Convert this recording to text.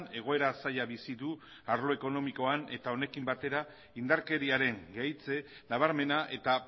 egoera zaila bizi du arlo ekonomikoan eta honekin batera indarkeriaren gehitze nabarmena eta